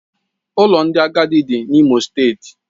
Ụlọ ndị agadi dị n'Imo steeti